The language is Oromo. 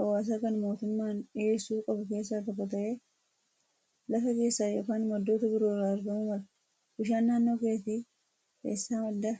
hawaasaa kan mootummaan dhiyeessuu qabu keessaa tokko ta'ee lafa keessaa yookaan maddoota biroorraa argamuu mala. Bishaan naannoo keetti eessaa maddaa?